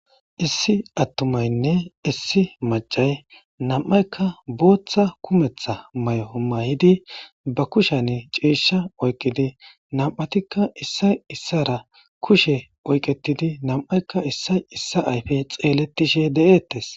Issi atumatinne issi macayi namayika botha kumeththa mayo mayidi ba kushshe cishsha oyikidi namatikka issayi isara kushe oyiketidi namayika issayi issa ayife xeletishe deetesi